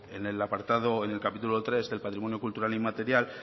en el capítulo tres del patrimonio cultural inmaterial